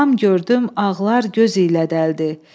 Qulam gördüm ağlar göz ilə dələdi.